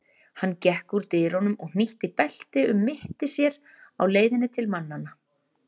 Hann gekk úr dyrunum og hnýtti belti um mitti sér á leiðinni til mannanna.